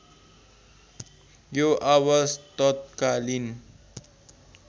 यो आवाज तत्कालीन